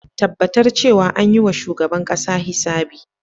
Tabbatar cewa an yi wa shugaban kasa hisabi.